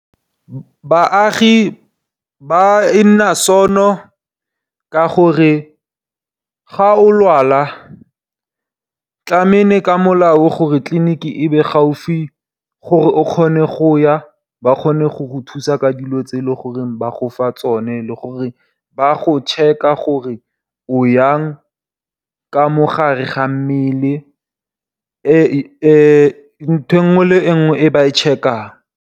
Baagi e nna sono, ka gore ga o lwala tlameile ka molao tliliniki e be gaufi gore o kgone go ya. Ba kgone go go thusa ka dilo tse e le gore ba gofa tsone. Le gore ba go check-a gore o yang ka mogare ga mmele ntho e nngwe le nngwe e ba e check-ang.